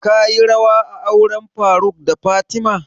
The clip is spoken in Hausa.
Ka yi rawa a auren faruk da fatima?